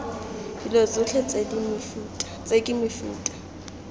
dilo tsotlhe tse ke mefuta